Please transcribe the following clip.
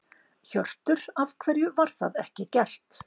Hjörtur: Af hverju var það ekki gert?